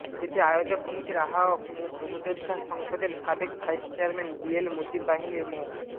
এতে আয়োজক কমিটির আহ্বায়ক মুক্তিযোদ্ধা সংসদের সাবেক ভাইস চেয়ারম্যান বিএল মুজিব বাহিনীর মো